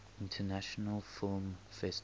international film festival